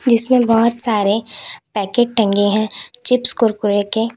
जिसमें बहोत सारे पैकेट टंगे हैं चिप्स कुरकुरे के।